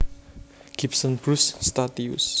Gibson Bruce Statius